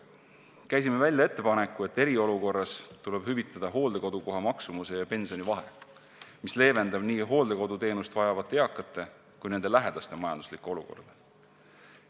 Käisime välja ettepaneku, et eriolukorras tuleb hüvitada hooldekodu kohamaksumuse ja pensioni vahe, mis leevendaks nii hooldekoduteenust vajavate eakate kui nende lähedaste majanduslikku olukorda.